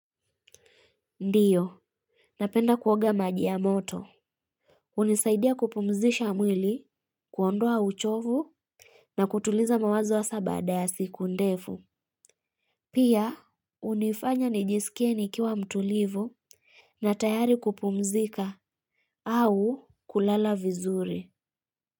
Ndiyo, napenda kuoga maji ya moto. Hunisaidia kupumzisha mwili, kuondoa uchovu. Na kutuliza mawazo hasa baada ya siku ndefu. Pia hunifanya nijisikie nikiwa mtulivu. Na tayari kupumzika au kulala vizuri.